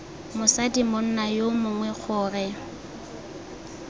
mosadi monna yo mongwe gore